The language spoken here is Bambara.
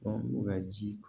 u ka ji